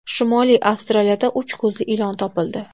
Shimoliy Avstraliyada uch ko‘zli ilon topildi.